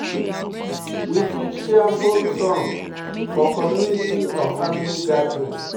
We fit share folk song for community or family gathering